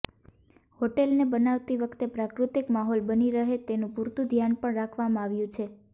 હોટેલને બનાવતી વખતે પ્રાકૃતિક માહોલ બની રહે તેનું પૂરતું ધ્યાન પણ રાખવામાં આવ્યું છે